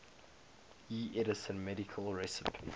ieee edison medal recipients